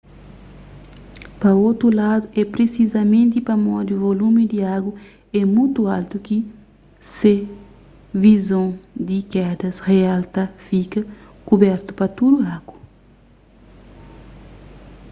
pa otu ladu é prisizamenti pamodi volumi di agu é mutu altu ki se vizon di kedas real ta fika kubertu-pa tudu agu